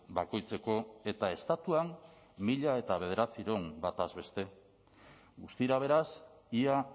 bakoitzeko eta estatuan mila bederatziehun bataz beste guztira beraz ia